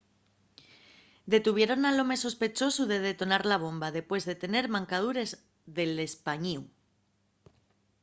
detuvieron al home sospechosu de detonar la bomba depués de tener mancadures del españíu